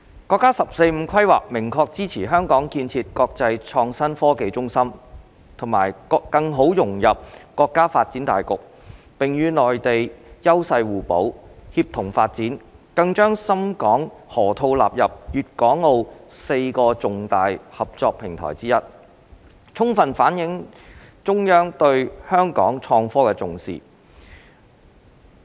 國家"十四五"規劃明確支持香港建設國際創新科技中心和更好融入國家發展大局，並與內地優勢互補，協同發展，更將深港河套納入粵港澳4個重大合作平台之一，充分反映了中央對香港創科的重視。